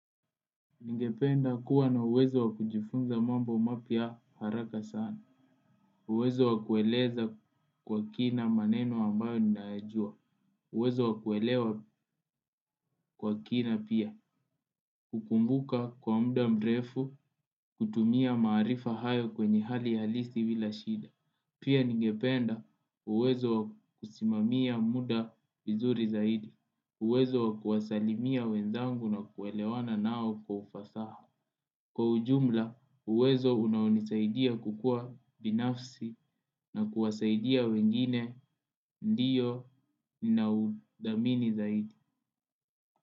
Ningependa kuwa na uwezo wa kujifunza mambo mapya haraka sana. Uwezo wa kueleza kwa kina maneno ambayo ninayajua. Uwezo wakuelewa kwa kina pia. Ukumbuka kwa muda mrefu kutumia maarifa hayo kwa hali halisi bila shida. Pia ningependa uwezo wa kusimamia muda vizuri zaidi. Uwezo wa kuwasalimia wenzangu na kuelewana nao kwa ufasaha. Kwa ujumla uwezo unaonisaidia kukua binafsi na kuwasaidia wengine ndiyo ninaudhamini zaidi.